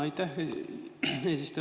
Aitäh, eesistuja!